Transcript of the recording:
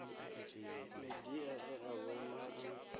midia e a vhonwa a